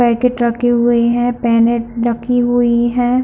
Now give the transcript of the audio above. Packet रखे हुए है पेनेट रखी हुई है।